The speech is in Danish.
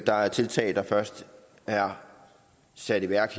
der er tiltag der først er sat i værk